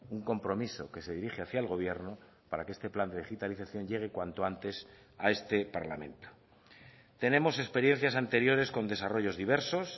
un compromiso que se dirige hacia el gobierno para que este plan de digitalización llegue cuanto antes a este parlamento tenemos experiencias anteriores con desarrollos diversos